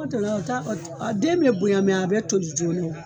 den bɛ bonya a bɛ toli joona.